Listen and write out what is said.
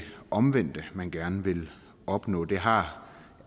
omvendte man gerne vil opnå det har